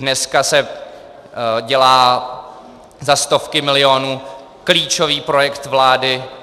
Dneska se dělá za stovky milionů klíčový projekt vlády